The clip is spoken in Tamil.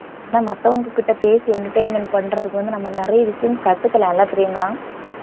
ஆனா மத்தவங்க கிட்ட பேசி entertainment பண்றதுக்கு வந்து நம்ம நிறைய விஷயம் கத்துக்கலாம்ல பிரியங்கா